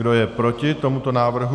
Kdo je proti tomuto návrhu?